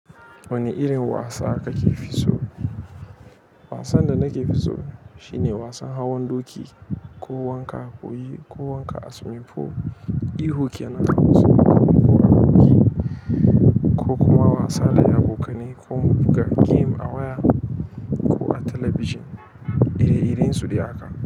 Wane irin wasa kake fi so? Wasan da nake fi so shine wasan hawan doki ko wanka ko wanka a swimming pool. Ihu kenan ko kuma wasa da abokanai ko mu buga game a waya ko a talabijin. Ire-iren su ɗaya ka.